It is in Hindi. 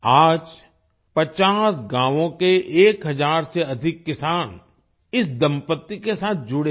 आज 50 गाँव के 1000 से अधिक किसान इस दंपत्ति के साथ जुड़े हैं